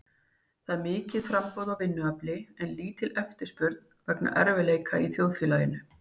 Það er mikið framboð á vinnuafli en lítil eftirspurn vegna erfiðleika í þjóðfélaginu.